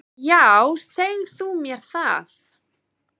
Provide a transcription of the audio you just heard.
Já, seg þú mér það.